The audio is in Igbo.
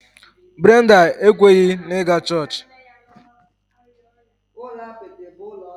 Brenda ekweghị na ịga chọọchị